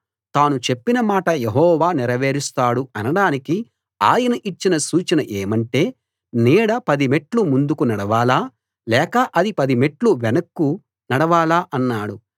తాను చెప్పిన మాట యెహోవా నెరవేరుస్తాడు అనడానికి ఆయన ఇచ్చిన సూచన ఏమంటే నీడ పది మెట్లు ముందుకు నడవాలా లేక అది పదిమెట్లు వెనక్కు నడవాలా అన్నాడు